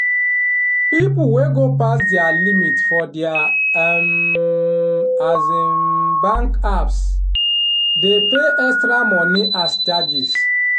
people wey go pass dia limit for dia um um bank apps dey pay extra money as charges